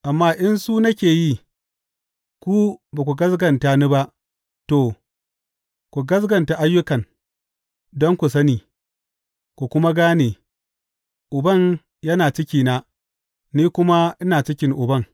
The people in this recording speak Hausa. Amma in su nake yi, ko ba ku gaskata ni ba, to, ku gaskata ayyukan, don ku sani, ku kuma gane, Uban yana cikina, ni kuma ina cikin Uban.